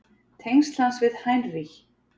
Tengsl hans við Heinrich